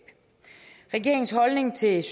er